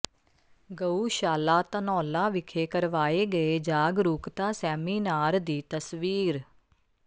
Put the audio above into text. ਗਊਸ਼ਾਲਾ ਧਨੌਲਾ ਵਿਖੇ ਕਰਵਾਏ ਗਏ ਜਾਗਰੂਕਤਾ ਸੈਮੀਨਾਰ ਦੀ ਤਸਵੀਰ